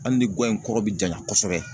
Hali ni guwa in kɔrɔ bi janya kosɛbɛ